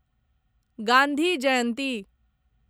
Gandhi Jayanti